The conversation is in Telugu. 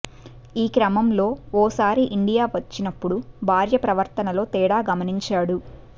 ఈ క్రమంలో ఓసారి ఇండియా వచ్చి నప్పుడు భార్య ప్రవర్తనలో తేడా గమనించాడు